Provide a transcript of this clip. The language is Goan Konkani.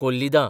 कोल्लिदां